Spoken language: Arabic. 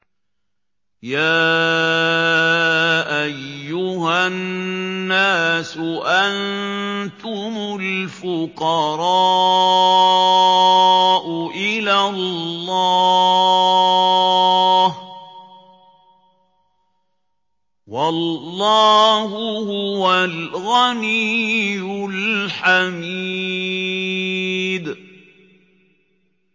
۞ يَا أَيُّهَا النَّاسُ أَنتُمُ الْفُقَرَاءُ إِلَى اللَّهِ ۖ وَاللَّهُ هُوَ الْغَنِيُّ الْحَمِيدُ